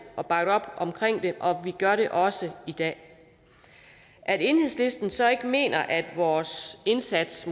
og bakket op omkring det og vi gør det også i dag at enhedslisten så måske ikke mener at vores indsats